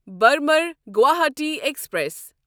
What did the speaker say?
Burma Guwahati express